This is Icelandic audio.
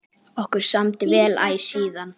Okkur samdi vel æ síðan.